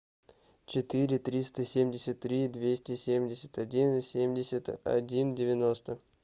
четыре триста семьдесят три двести семьдесят один семьдесят один девяносто